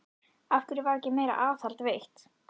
Af hverju var ekki meira aðhald veitt?